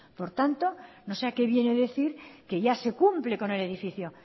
por tanto no sé a qué viene decir que ya se cumple con el edificio